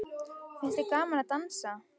Finnst þér gaman að dansa?